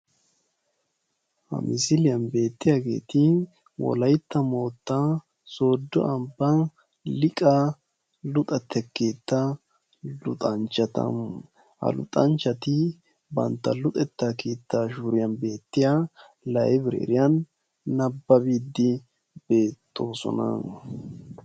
Ha Misiliyaan beettiyaageeti Wolaytta moottan Sooddo ambba Liiqa luxettaa keettaa luxanchchata. Ha luxanchchati bantta luxetta keettan shuriyan beettiya laybireeriyaan naababide beettoosona.